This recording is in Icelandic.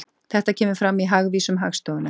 Þetta kemur fram í Hagvísum Hagstofunnar